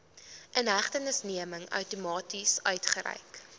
inhegtenisneming outomaties uitgereik